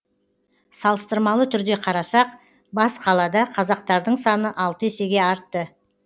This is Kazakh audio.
салыстырмалы түрде қарасақ бас қалада қазақтардың саны алты есеге артты